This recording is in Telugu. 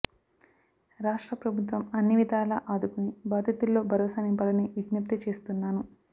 రాష్ట్ర ప్రభుత్వం అన్నివిధాలా ఆదుకుని బాధితుల్లో భరోసా నింపాలని విజ్ఞప్తి చేస్తున్నాను